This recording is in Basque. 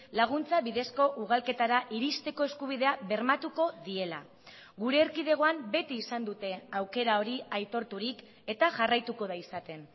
laguntza bidezko ugalketara iristeko eskubidea bermatuko diela gure erkidegoan beti izan dute aukera hori aitorturik eta jarraituko da izaten